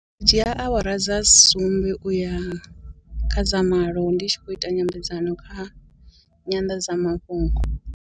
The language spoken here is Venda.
Dzhia awara dza sumbe uya kha dzama malo ndi tshi khou ita nyambedzano kha nyanḓadzamafhungo.